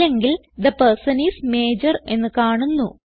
അല്ലെങ്കിൽ the person is major എന്ന് കാണുന്നു